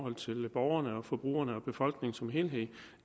borgerne forbrugerne og befolkningen som helhed